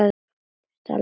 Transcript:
Ertu alveg viss, Svenni?